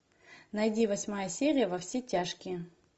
найди восьмая серия во все тяжкие